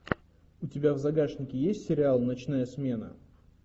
у тебя в загашнике есть сериал ночная смена